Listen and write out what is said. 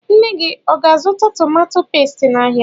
Nne gị ọ ga- azụta tomato pestie n' áhiá?